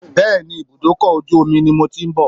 Bẹ́ẹ̀ni, ibùdókọ̀ ojú omi ni mo ti ń bọ̀.